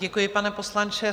Děkuji, pane poslanče.